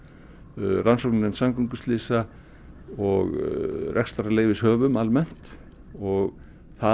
rannsóknarnefnd samgönguslysa og rekstrarleyfishöfum almennt og það